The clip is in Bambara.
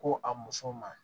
Ko a muso ma